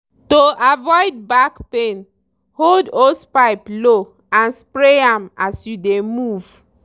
to avoid back pain hold hosepipe low and spray am as you dey move.